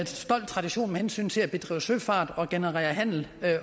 stolt tradition med hensyn til at drive søfart og generere handel